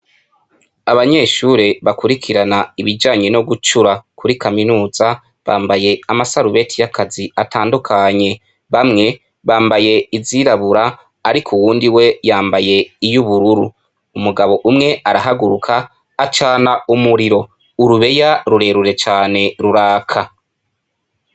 Abanyeshure bakurikirana ibijanye no gucura kuri kaminuza bambaye amasarubeti y'akazi atandukanye bamwe bambaye izirabura, ariko uwundi we yambaye iyubururu, umugabo umwe arahaguruka acana umuriro urubeya rurerure cane ruraka.